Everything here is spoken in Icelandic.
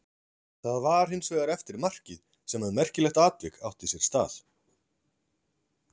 Það var hins vegar eftir markið sem að merkilegt atvik átti sér stað.